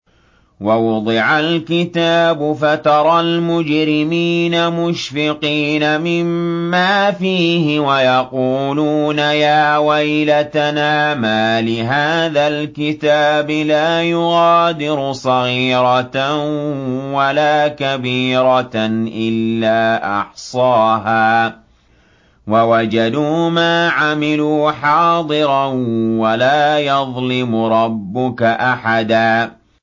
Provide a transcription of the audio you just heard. وَوُضِعَ الْكِتَابُ فَتَرَى الْمُجْرِمِينَ مُشْفِقِينَ مِمَّا فِيهِ وَيَقُولُونَ يَا وَيْلَتَنَا مَالِ هَٰذَا الْكِتَابِ لَا يُغَادِرُ صَغِيرَةً وَلَا كَبِيرَةً إِلَّا أَحْصَاهَا ۚ وَوَجَدُوا مَا عَمِلُوا حَاضِرًا ۗ وَلَا يَظْلِمُ رَبُّكَ أَحَدًا